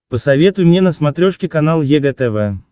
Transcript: посоветуй мне на смотрешке канал егэ тв